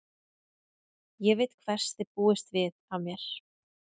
Ég veit hvers þið búist við af mér.